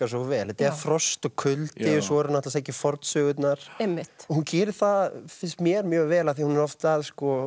svo vel þetta er frost og kuldi og svo er hún að sækja í fornsögurnar og hún gerir það finnst mér mjög vel af því hún er oft að